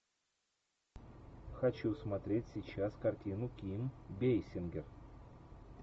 хочу смотреть сейчас картину ким бейсингер